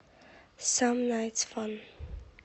сам найтс фан